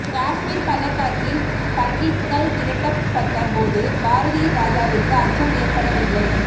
காஷ்மீர் பள்ளத்தாக்கில் பண்டிட்கள் விரட்ட பட்ட போது பாரதி ராஜாவிற்கு அச்சம் ஏற்படவில்லை